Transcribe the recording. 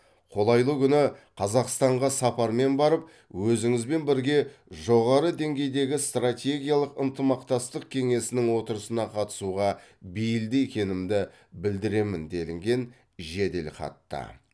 қолайлы күні қазақстанға сапармен барып өзіңізбен бірге жоғары деңгейдегі стратегиялық ынтымақтастық кеңесінің отырысына қатысуға бейілді екенімді білдіремін делінген жеделхатта